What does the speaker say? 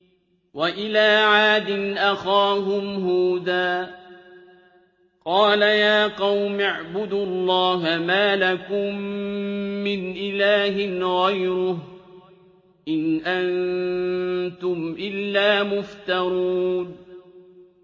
وَإِلَىٰ عَادٍ أَخَاهُمْ هُودًا ۚ قَالَ يَا قَوْمِ اعْبُدُوا اللَّهَ مَا لَكُم مِّنْ إِلَٰهٍ غَيْرُهُ ۖ إِنْ أَنتُمْ إِلَّا مُفْتَرُونَ